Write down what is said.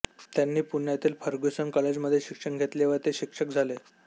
त्यांनी पुण्यातील Fergusson college मध्ये शिक्षण घेतले व ते शिक्षक झाले